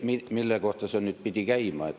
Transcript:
Ma ei tea, mille kohta see nüüd pidi käima.